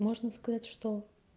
можно сказать что